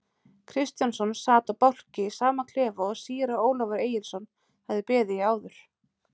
Kristjánsson sat á bálki í sama klefa og síra Ólafur Egilsson hafði beðið í áður.